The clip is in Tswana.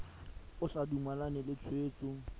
o sa dumalane le tshwetso